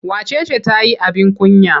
Wace ce ta yi abin kunya?